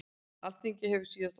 Alþingi hefur síðasta orðið